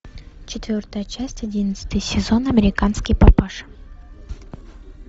четвертая часть одиннадцатый сезон американский папаша